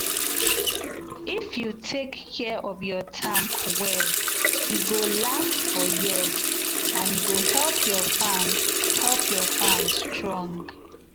if you take care of your tank well e go last for years and e go help your farm help your farm strong.